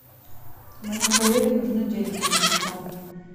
моему коллеге нужны деньги на телефон